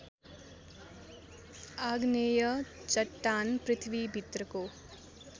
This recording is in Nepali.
आग्नेय चट्टान पृथ्वीभित्रको